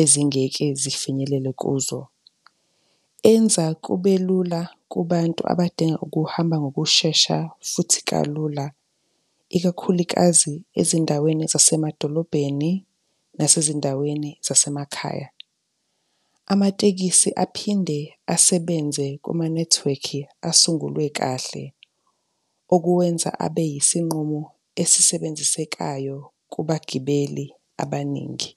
ezingeke zifinyelele kuzo. Enza kube lula kubantu abadinga ukuhamba ngokushesha futhi kalula, ikakhulikazi ezindaweni zasemadolobheni nasezindaweni zasemakhaya. Amatekisi aphinde asebenze kumanethiwekhi asungulwe kahle, okuwenza abe yisinqumo esisebenzisekayo kubagibeli abaningi.